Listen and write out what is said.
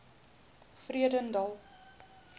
vredendal